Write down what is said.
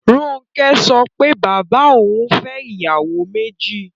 Ronke sọ pé bàbá òun fẹ́ ìyàwó méjì